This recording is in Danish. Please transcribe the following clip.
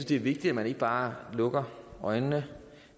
det er vigtigt at man ikke bare lukker øjnene